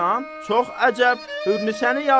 Çox əcəb, Hürnisəni yazdır.